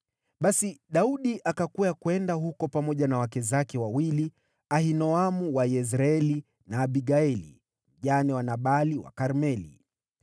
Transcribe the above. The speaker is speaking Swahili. Basi Daudi akakwea kwenda huko pamoja na wake zake wawili, Ahinoamu wa Yezreeli na Abigaili, mjane wa Nabali wa Karmeli.